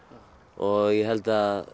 og ég held að